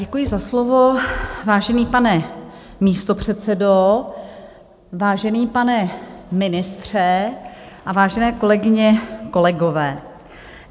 Děkuji za slovo, vážený pane místopředsedo, vážený pane ministře a vážené kolegyně kolegové.